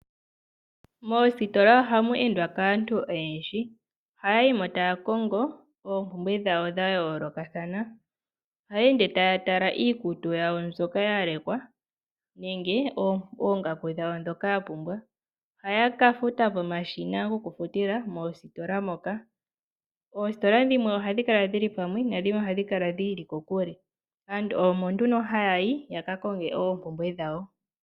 Moositolaa ohamweendwa kaantu oyendji, ohaayimo taakongo oompumbwe dhawo dhayoolokathana. Ohayeende taatala iikutu yawo mbyoka yalekwa nenge oongaku dhawo dhoka yapumbwa ohayakafuta komashina gokufutila moositola moka. Oositola dhimwe ohadhikala dhili pwamwa nadhimwe ohadhi kala dhiili kokule aantu omonduno hayayi yakakonge oompumbwe dhawo.